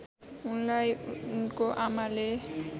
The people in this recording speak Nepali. उनलाई उनको आमाले